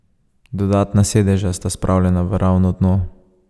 Dodatna sedeža sta spravljena v ravno dno.